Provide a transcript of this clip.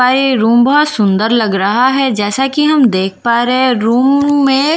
room बहुत सुंदर लग रहा है जैसा कि हम देख पा रहे हैं रूम में--